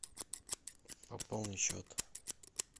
пополни счет